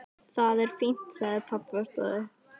Það er fínt sagði pabbi og stóð upp.